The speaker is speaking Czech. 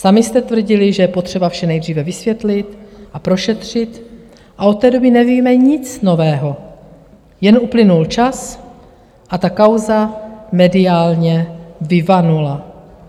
Sami jste tvrdili, že je potřeba vše nejdříve vysvětlit a prošetřit, a od té doby nevíme nic nového, jen uplynul čas a ta kauza mediálně vyvanula.